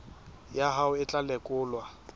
ya hao e tla lekolwa